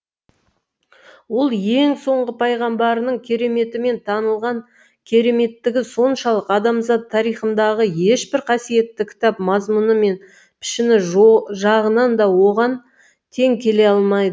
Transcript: ол ең соңғы пайғамбарының кереметімен танылған кереметтігі соншалық адамзат тарихындағы ешбір қасиетті кітап мазмұны мен пішіні жағынан да оған тең келе алмай